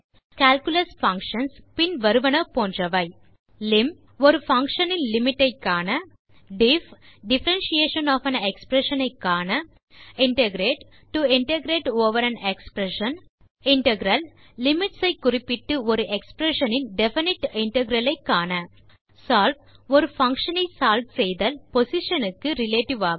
calculus functions பின் வருவன போன்றவை lim ஒரு பங்ஷன் இன் லிமிட் ஐ காண diff differentiation of an expression ஐ காண integrate to integrate over an expression integral limits ஐ குறிப்பிட்டு ஒரு எக்ஸ்பிரஷன் இன் டெஃபினைட் இன்டெக்ரல் ஐ காண solve ஒரு பங்ஷன் ஐ சால்வ் செய்தல் பொசிஷன் க்கு ரிலேட்டிவ் ஆக